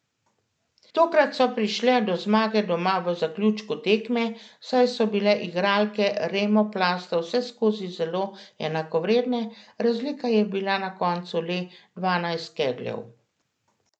Tokrat so prišle do zmage doma v zaključku tekme, saj so bile igralke Remoplasta vseskozi zelo enakovredne, razlika je bila na koncu le dvanajst kegljev.